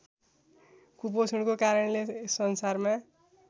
कुपोषणको कारणले संसारमा